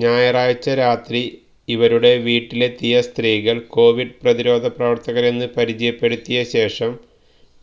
ഞായറാഴ്ച രാത്രി ഇവരുടെ വീട്ടിലെത്തിയ സ്ത്രീകള് കൊവിഡ് പ്രതിരോധ പ്രവര്ത്തകരെന്ന് പരിചയപ്പെടുത്തിയ ശേഷം